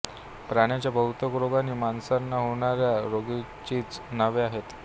प्राण्याच्या बहुतेक रोगांना माणसांना होणाऱ्या रोगांचीच नावे आहेत